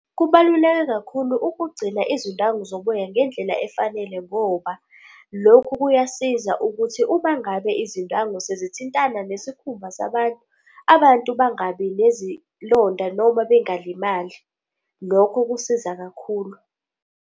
Kubaluleke kakhulu ukugcina izindwangu zoboya ngendlela efanele ngoba lokhu kuyasiza ukuthi uma ngabe izindwangu sezithintana nesikhumba sabantu, abantu bangabi nezilonda noma bengalimali. Lokho kusiza kakhulu.